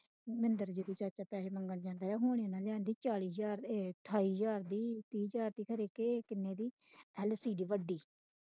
ਮਹਿੰਦਰ ਦੀ ਚਾਚਾ ਪੈਹੇ ਮੰਗਣ ਦੇ ਹੁਣ ਓਹਨਾ ਨੇ ਲਿਆਂਦੀ ਚਾਲੀ ਹਜ਼ਾਰ ਅਠਾਈ ਹਜ਼ਾਰ ਦੀ